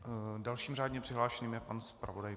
Dalším řádně přihlášeným je pan zpravodaj.